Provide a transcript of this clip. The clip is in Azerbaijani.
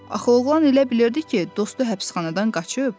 Axı oğlan elə bilirdi ki, dostu həbsxanadan qaçıb.